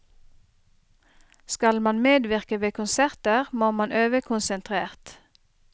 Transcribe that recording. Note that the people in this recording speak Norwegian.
Skal man medvirke ved konserter, må man øve konsentrert.